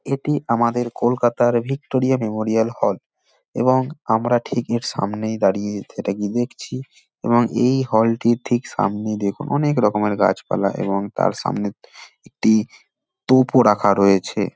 এটি আমাদের কলকাতার ভিক্টোরিয়া মেমোরিয়াল হল এবং আমরা ঠিক এর সামনে দাঁড়িয়ে সেটাকে দেখছি এবং এই হল -টির ঠিক সামনে দিয়ে অনেক রকমের গাছপালা এবং তার সামনে একটি টূপ রাখা রয়েছে।